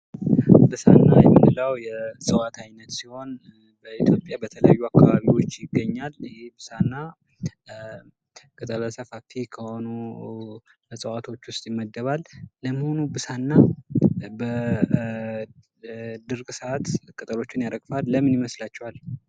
ብሳዕና የምንለው የእፅዋት አይነት ሲሆን በኢትዮጵያ በተለያዩ አካባቢዎች ይገኛል። ይህ ብሳዕና ቅጠለ ሰፋፊ ከሆኑ እፅዋቶች ውስጥ ይመደባል። ለመሆኑ ብሳዕና በድርቅ ሰዓት ቅጠሎችን ያረግፋል። ለምን ይመስላችኋል?